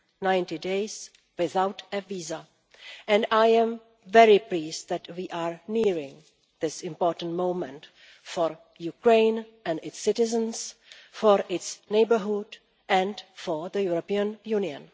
90 days without a visa, and I am very pleased that we are nearing this important moment for Ukraine and its citizens, for its neighbourhood and for the European Union.